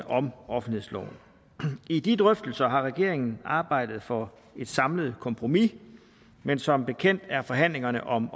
om offentlighedsloven i de drøftelser har regeringen arbejdet for et samlet kompromis men som bekendt er forhandlingerne om